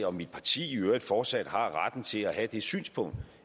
og mit parti i øvrigt fortsat har retten til at have det synspunkt